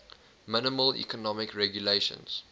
minimal economic regulations